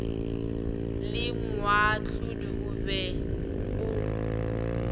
le moahlodi o be o